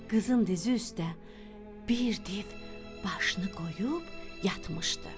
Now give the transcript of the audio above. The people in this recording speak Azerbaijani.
Qızın dizi üstdə bir div başını qoyub yatmışdı.